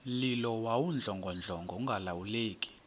mlilo wawudlongodlongo ungalawuleki